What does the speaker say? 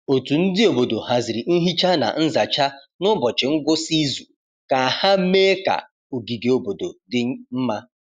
Otu ndi obodo haziri nhicha na nzacha n’ụbọchị ngwụsị izu ka ha mee ka ogige obodo dị mma.